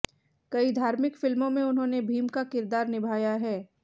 कई धार्मिक फिल्मों में उन्होंने भीम का किरदार निभाया है